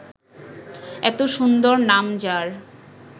এত সুন্দর নাম যার